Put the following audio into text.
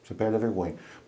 Você perde a vergonha.